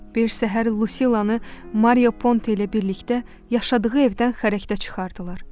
Bir səhər Lucilanı Mario Ponte ilə birlikdə yaşadığı evdən xərəkdə çıxardılar.